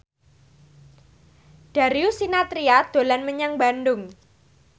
Darius Sinathrya dolan menyang Bandung